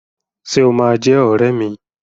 Ṣé o máa jẹ́ ọrẹ́ mi?